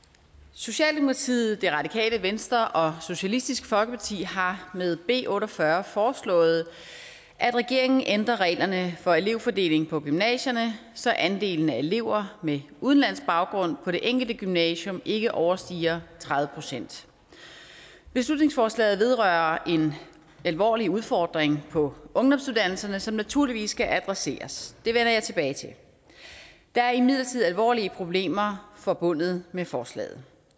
socialdemokratiet det radikale venstre og socialistisk folkeparti har med b otte og fyrre foreslået at regeringen ændrer reglerne for elevfordelingen på gymnasierne så andelen af elever med udenlandsk baggrund på det enkelte gymnasium ikke overstiger tredive procent beslutningsforslaget vedrører en alvorlig udfordring på ungdomsuddannelserne som naturligvis skal adresseres det vender jeg tilbage til der er imidlertid alvorlige problemer forbundet med forslaget